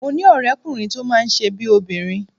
Mo ní ọ̀rẹ́kùnrin tó máa ń ṣe bíi obìnrin